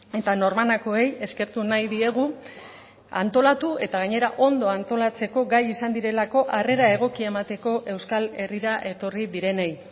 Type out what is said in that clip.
eta norbanakoei eskertu nahi diegu antolatu eta gainera ondo antolatzeko gai izan direlako harrera egokia emateko euskal herrira etorri direnei